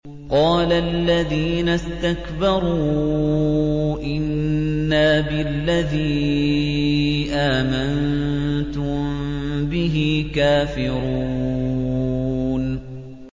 قَالَ الَّذِينَ اسْتَكْبَرُوا إِنَّا بِالَّذِي آمَنتُم بِهِ كَافِرُونَ